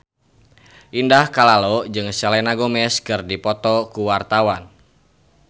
Indah Kalalo jeung Selena Gomez keur dipoto ku wartawan